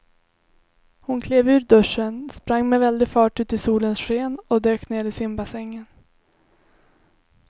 Hon klev ur duschen, sprang med väldig fart ut i solens sken och dök ner i simbassängen.